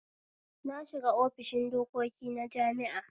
Na shiga ofishin dokoki na jami'a